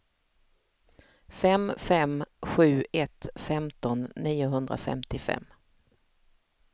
fem fem sju ett femton niohundrafemtiofem